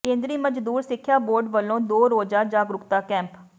ਕੇਂਦਰੀ ਮਜ਼ਦੂਰ ਸਿੱਖਿਆ ਬੋਰਡ ਵੱਲੋਂ ਦੋ ਰੋਜ਼ਾ ਜਾਗਰੂਕਤਾ ਕੈਂਪ